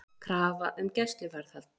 Krafa um gæsluvarðhald